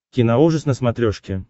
киноужас на смотрешке